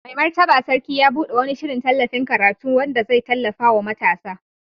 Mai Martaba Sarki ya bude wani shirin tallafin karatu wanda zai tallafa wa matasa.